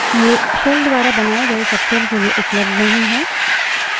ये shells द्वारा बनाए गए सबशेल के लिए उपलब्ध नहीं हैं